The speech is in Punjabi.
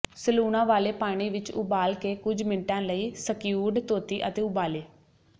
ਸਲੂਣਾ ਵਾਲੇ ਪਾਣੀ ਵਿੱਚ ਉਬਾਲ ਕੇ ਕੁਝ ਮਿੰਟਾਂ ਲਈ ਸਕਿਊਡ ਧੋਤੀ ਅਤੇ ਉਬਾਲੇ